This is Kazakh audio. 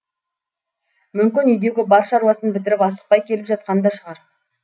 мүмкін үйдегі бар шаруасын бітіріп асықпай келіп жатқан да шығар